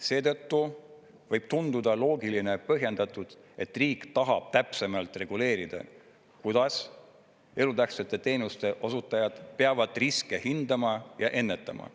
Seetõttu võib tunduda loogiline ja põhjendatud, et riik tahab täpsemalt reguleerida, kuidas elutähtsate teenuste osutajad peavad riske hindama ja ennetama.